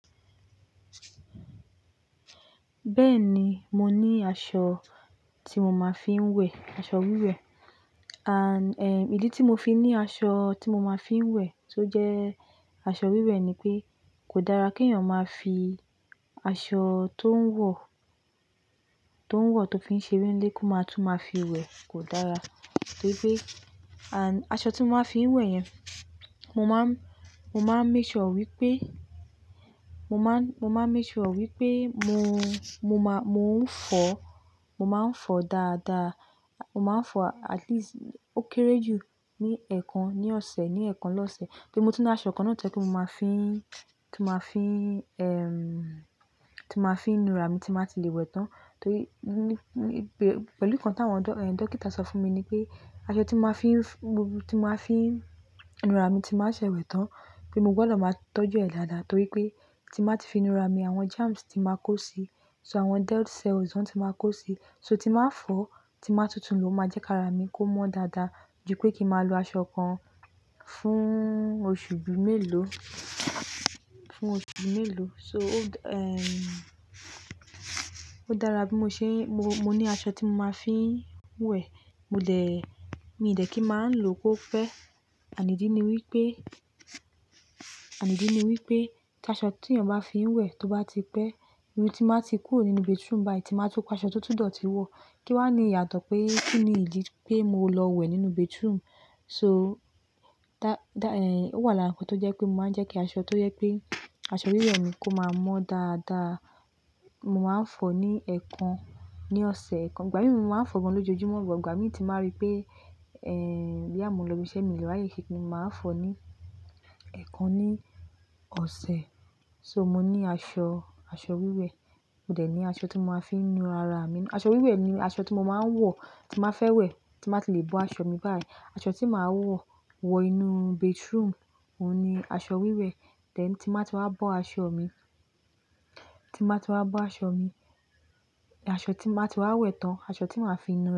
Bẹ́ẹ̀ni, mo ní aṣọ tí mo máa fi ń wẹ̀, aṣọ wíwẹ̀. À, ẹ́, ìdí tí mo fi ní aṣọ tí mo máa fi ń wẹ̀ tó jẹ́ aṣọ wíwẹ̀ ni pé kò dára kí èèyàn máa fi aṣọ tó ń wọ, tó ń wọ tó fi ń ṣeré nílé kó máa tún máa fi wẹ̀ kò dára. Torí pé, à, aṣọ tí mo máa fi ń wẹ̀ yẹn, mo máa ń, mo máa ń make sure wípé, mo máa ń, mo máa ń make sure wípé mo, mo máa, mo ń fọ, mo máa ń fọ dáadáa. Mo máa ń fọ at least ó kéré jù ní ẹẹkan ní ọ̀sẹ̀, ní ẹẹkan lọ́ṣẹ̀ kí ó tó máa tún aṣọ kan náà tẹ́lẹ̀ kí mo máa fi ń, kí n máa fi ń, ẹ́m, kí n máa fi ń nu ara mi tí màá ti lè wẹ̀ tán. Torí, ní, ní, pẹ̀lú nǹkan tí àwọn dó, ẹ́, dókítà sọ fún mi ni pé aṣọ tí mo máa fi ń, tí mo máa fi ń nu ara mi tí màá ṣe wẹ̀ tán pé mo gbọ́dọ̀ máa tọ́jú ẹ̀ dáadáa torí pé tí màá ti fi nu ara mi àwọn germs tí màá kó sí, so àwọn dead cell ozone tí màá kó sí, so tí màá fọ̀, tí màá tútù ló máa jẹ́ kí ara mi kó mọ́ dáadáa ju pé kí màá lo aṣọ kan fún oṣù bí mélòó, fún oṣù bí mélòó. So o, ẹ́m, ó dára bí mo ṣe ń, mo, mo ní aṣọ tí mo máa fi ń wẹ̀. Mo dẹ̀, mi dẹ̀ kí n máa ń lò ó pẹ́. Ànídí ni wípé, ànídí ni wípé kí aṣọ tí èèyàn bá fi ń wẹ̀ tó bá ti pẹ́, irun tí màá ti kúrò nínú bathroom báyìí tí màá tó pa aṣọ tó tún dọ̀tí wọ̀ kí wá ní ìyàtọ̀ pé kí ni ìdí pé mo lọ wẹ̀ nínú bathroom. So dá, dá, ẹ́m, ó wà lára nǹkan tó jẹ́ pé mo máa ń jẹ́ kí aṣọ tó jẹ́ pé aṣọ wíwẹ̀ mi kó máa mọ́ dáadáa. Mo máa ń fọ ní ẹẹkan ní ọ̀sẹ̀ ẹẹkan. Ìgbà mìíràn mo máa ń fọ wọn lójoojúmọ́, ṣùgbọ́n ìgbà mìíràn tí màá rí pé, ẹ́m, bí àmọ́ ń lọ ibi iṣẹ́ mi ló wáyé kí ni màá fọ ní ẹẹkan ní ọ̀sẹ̀. So mo ní aṣọ, aṣọ wíwẹ̀. Mo dẹ̀ ní aṣọ tí mo máa fi ń nu ara mi. Aṣọ wíwẹ̀ ni aṣọ tí mo máa ń wọ̀ tí màá fẹ́ wẹ̀ tí màá ti lè bọ́ aṣọ mi báyìí. Aṣọ tí màá wọ̀, wọ inú bathroom, òun ni aṣọ wíwẹ̀. Dẹ̀ tí màá ti wá bọ́ aṣọ mi, tí màá ti wá bọ́ aṣọ mi, aṣọ tí màá ti wá wẹ̀ tán, aṣọ tí màá fi nu ara mi.